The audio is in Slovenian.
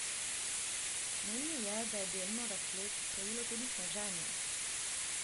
Menil je, da je delno razplet krojilo tudi sneženje.